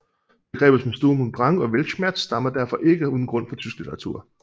Begreber som Sturm und Drang og Weltschmerz stammer derfor ikke uden grund fra tysk litteratur